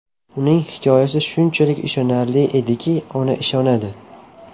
Uning hikoyasi shunchalik ishonarli ediki, ona ishonadi.